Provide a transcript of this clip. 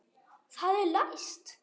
Það er læst!